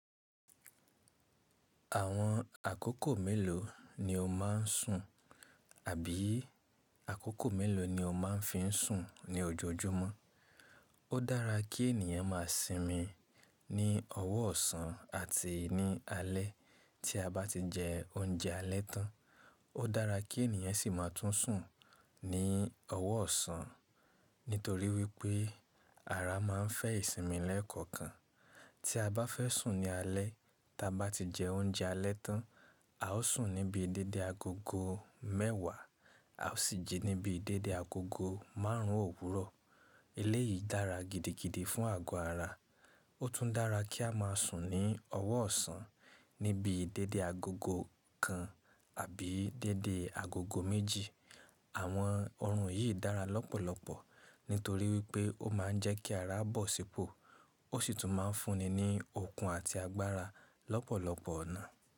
Àwọn àkókò mélòó ni o máa ń sùn àbí àkókò mélòó ni o máa ń fi ń sùn ní ojoojúmọ́? Ó dára kí ènìyàn má a sinmi ní ọ̀wọ ọsan àti ní alé tí a bá ti jẹ oúnjẹ alẹ́ tán. Ó dára kí ènìyàn sì máa tún sùn ní ọ̀wọ ọsan nítorí wípé ara máa ń fẹ́ ìsinmi lẹ́ẹ̀kọ̀kan. Tí a bá fẹ́ sùn ní alẹ́, tí a bá ti jẹ oúnjẹ alẹ́ tán, a ó sùn ní bii dédé agogo mẹ́wàá, a ó sì jí ní bii dédé agogo márùn ún òwúrọ̀. Eléyìí dára gidigidi fún àgọ́ ara. Ó tún dára kí a má a sùn ní ọ̀wọ ọsan ní bii dédé agogo kan àbí dédé agogo méjì. Àwọn ọ̀orun yìí dára lọ́pọ̀lọpọ̀ nítorí wípé ó máa ń jẹ́ kí ara bọ̀ sípò, ó sì tún máa ń fúnni ní okun àti agbára lọ́pọ̀lọpọ̀ ọ̀nà.